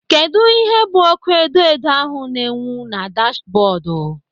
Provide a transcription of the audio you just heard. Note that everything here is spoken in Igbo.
Kedụ ihe bụ ọ́kụ́ edoedo ahụ na-enwu na dashbọọdụ?